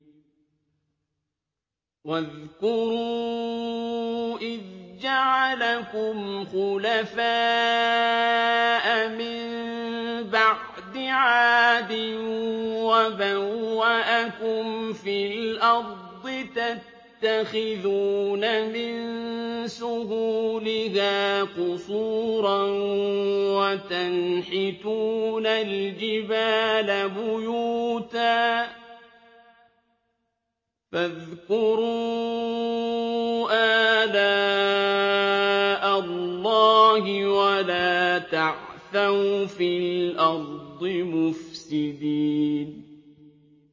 وَاذْكُرُوا إِذْ جَعَلَكُمْ خُلَفَاءَ مِن بَعْدِ عَادٍ وَبَوَّأَكُمْ فِي الْأَرْضِ تَتَّخِذُونَ مِن سُهُولِهَا قُصُورًا وَتَنْحِتُونَ الْجِبَالَ بُيُوتًا ۖ فَاذْكُرُوا آلَاءَ اللَّهِ وَلَا تَعْثَوْا فِي الْأَرْضِ مُفْسِدِينَ